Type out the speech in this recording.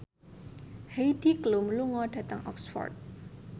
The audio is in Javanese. Heidi Klum lunga dhateng Oxford